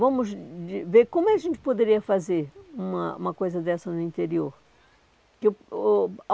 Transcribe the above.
Vamos ver como a gente poderia fazer uma uma coisa dessa no interior.